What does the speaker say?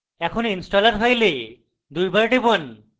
এখন installer file দুইবার টিপুন